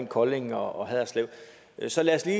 kolding og haderslev så lad os lige